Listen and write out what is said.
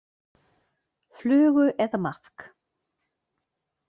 Flugu eða maðk.